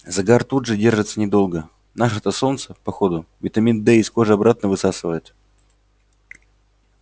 загар тут тоже держится недолго наше-то солнце по ходу витамин д из кожи обратно высасывает